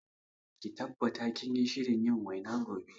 Ki tabbata kinyi shirin yin waina gobe